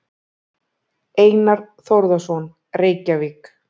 Einar Þórðarson, Reykjavík.